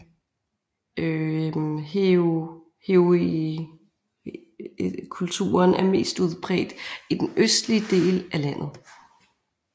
Heurigenkulturen er mest udbredt i den østlige del af landet